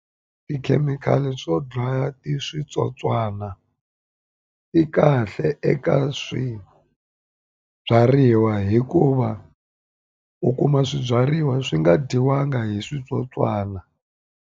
Tikhemikhali to dlaya ti switsotswana i kahle eka swibyariwa hikuva u kuma swibyariwa swi nga dyiwanga hi switsotswana.